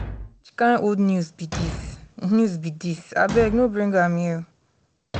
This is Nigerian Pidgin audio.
which kin old news be dis news be dis abeg no bring am here